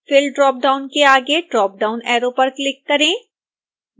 fill dropdown के आगे drop down arrow पर क्लिक करें